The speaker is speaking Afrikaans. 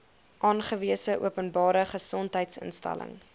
aangewese openbare gesondheidsinstelling